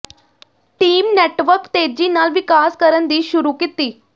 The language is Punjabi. ਟੀਮ ਨੈੱਟਵਰਕ ਤੇਜ਼ੀ ਨਾਲ ਵਿਕਾਸ ਕਰਨ ਦੀ ਸ਼ੁਰੂ ਕੀਤੀ